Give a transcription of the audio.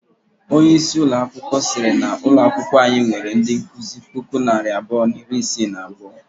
Onye isi ụlọ akwụkwọ siri na ụlọ akwụkwọ anyị nwere ndị nkụzi puku na narị abụọ na iri isii na abuo.